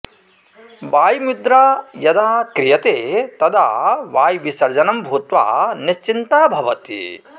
वायुमुद्रा यदा क्रियते तदा वायुविसर्जनं भूत्वा निश्चिन्ता भवति